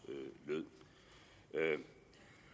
lød